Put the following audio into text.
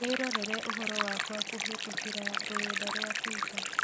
Wĩrorere ũhoro wakwa kũhītũkīra rũrenda rũa tũita